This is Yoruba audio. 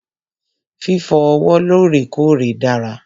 Fífọ ọwọ́ lọ́rèkọ́ọ̀rè dára.